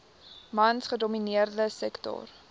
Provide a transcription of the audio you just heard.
mans gedomineerde sektor